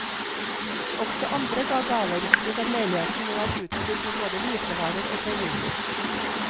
Også andre ga gaver, slik at leiligheten nå er utstyrt med både hvitevarer og servise.